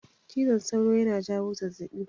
Cizon sauro na jawo zazzaɓi